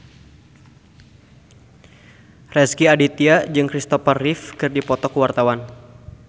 Rezky Aditya jeung Kristopher Reeve keur dipoto ku wartawan